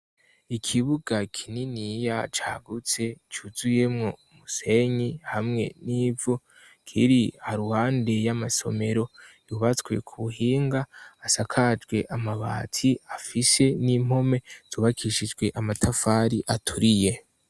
Ikibuga kinini ya cagutse cuzuye mw'umusenyi hamwe n'ivu ,kiri haru hande y'amasomero ,yubatswe ku buhinga, asakajwe amabati, afise n'impome ,zubakishijwe amatafari aturiye.